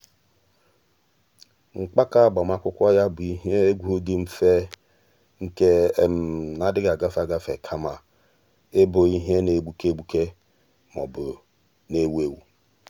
mgbàkà ágbámàkwụ́kwọ́ yá bụ ìhè égwu dị mfe nke um nà-adị́ghị́ ágafe ágafe kama ị́bụ́ ìhè nà-égbùké um égbùké um ma ọ́ bụ nà-èwú éwú.